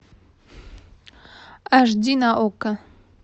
аш ди на окко